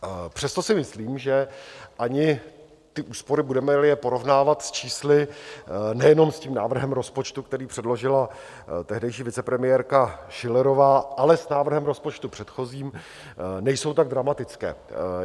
Přesto si myslím, že ani ty úspory, budeme-li je porovnávat s čísly, nejenom s tím návrhem rozpočtu, který předložila tehdejší vicepremiérka Schillerová, ale s návrhem rozpočtu předchozím, nejsou tak dramatické.